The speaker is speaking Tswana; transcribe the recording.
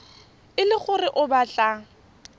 e le gore o batla